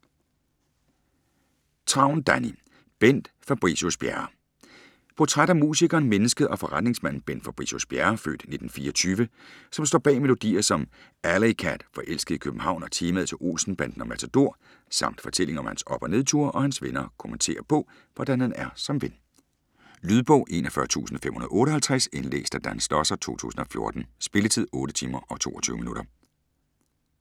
Travn, Danni: Bent Fabricius-Bjerre Portræt af musikeren, mennesket og forretningsmanden Bent Fabricius-Bjerre (f. 1924), som står bag melodier som "Alleycat","Forelsket i København", og temaet til "Olsenbanden" og "Matador". Samt fortælling om hans op- og nedture, og hans venner kommenterer på, hvordan han er som ven. Lydbog 41558 Indlæst af Dan Schlosser, 2014. Spilletid: 8 timer, 22 minutter.